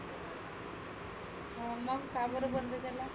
हं मग का बरं बंद झाला?